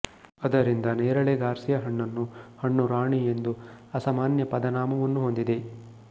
ಅದರಿಂದ ನೇರಳೆ ಗಾರ್ಸಿಯ ಹಣ್ಣನ್ನು ಹಣ್ಣು ರಾಣಿ ಎಂದು ಅಸಮಾನ್ಯ ಪದನಾಮವನ್ನು ಹೊಂದಿದೆ